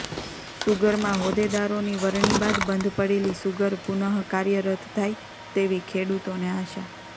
સુગરમાં હોદ્દેદારોની વરણી બાદ બંધ પડેલી સુગર પુનઃ કાર્યરત થાય તેવી ખેડૂતોને આશા